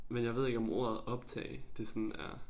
Men jeg ved ikke om ordet optage det sådan er